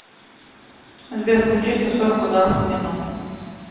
сбер включи сто сорок ударов в минуту